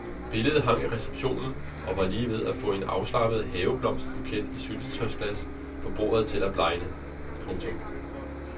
Billedet hang i receptionen og var lige ved at få en afslappet haveblomstbuket i et syltetøjsglas på bordet til at blegne. punktum